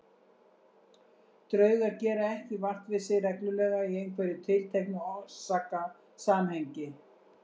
Draugar gera ekki vart við sig reglulega í einhverju tilteknu orsakasamhengi.